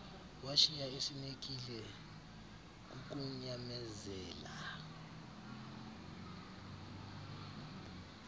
washiya esinekile kukunyamezela